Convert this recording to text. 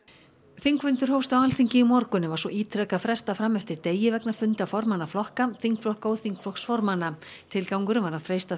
þingfundur hófst á Alþingi í morgun en var svo ítrekað frestað fram eftir degi vegna funda formanna flokka þingflokka og þingflokksformanna tilgangurinn var að freista